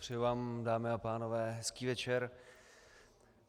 Přeji vám, dámy a pánové, hezký večer.